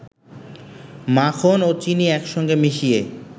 মাখন ও চিনি একসঙ্গে মিশিয়ে